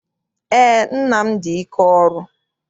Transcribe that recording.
Eé, nna m dị ike ọrụ.